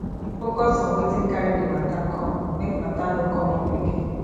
focus on wetin carri di matter come make matter no come up again